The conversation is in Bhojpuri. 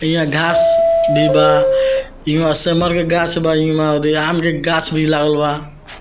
यहाँ घांस भी बा ईमें के गाछ बा इमें ओदे आम के गाछ भी लागल बा।